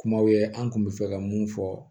Kumaw ye an kun bɛ fɛ ka mun fɔ